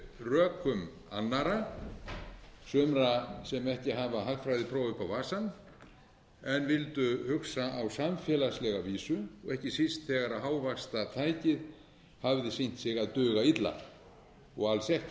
rökum annarra sumra sem ekki hafa hagfræðipróf upp á vasann en vildu hugsa á samfélagslega vísu og ekki síst þegar hávaxtatækið hafði sýnt sig að duga illa og alls